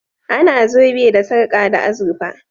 A na zobe da sarka da azurfa